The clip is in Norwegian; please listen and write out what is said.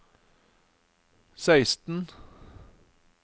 seksten